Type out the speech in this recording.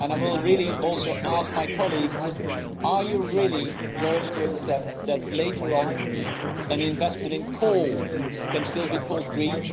I will also ask my colleagues, are you really going to accept that later on an investment in coal can still be called green?